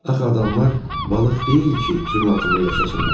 Axı adamlar balıq deyil ki, suyun altında yaşasınlar.